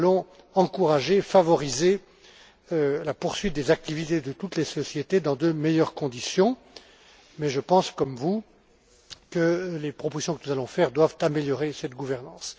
Nous allons encourager, favoriser la poursuite des activités de toutes les sociétés dans de meilleures conditions, mais je pense comme vous que les propositions que nous allons faire doivent améliorer cette gouvernance.